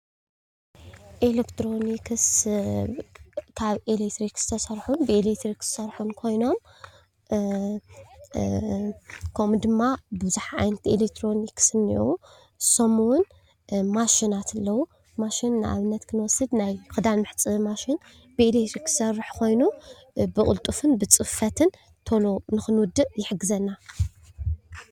ኤሌክትሮኒክስ ካብ ኤሌክትሪክ ዝስርሑን ብኤሌክትሪክ ዝሰርሑን ኮይኖም ከምኡ ድማ ብዙሕ ዓይነት ኤሌክትሮዚክስ እኒአው፡፡ ንሶም ውን ማሽናት ኣለው፡፡ ማሽን ንኣብነት ክንወስድ ናይ ክዳን መሕፀቢ ማሽን ብኤሌክትሪክ ዝሰርሕ ኮይኑ ብቕልጡፍን ብፅፈትን ተሎ ንኽንውድእ ይሕግዘና፡፡